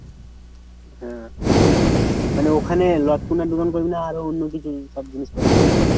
হ্যাঁ। মানে ওখানে দোকান করবি না আরো অন্যকিছু সব জিনিসপত্র থাকবে?